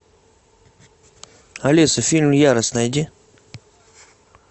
алиса фильм ярость найди